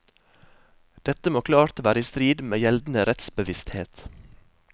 Dette må klart være i strid med gjeldende rettsbevissthet.